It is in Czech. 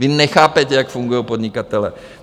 Vy nechápete, jak fungují podnikatelé.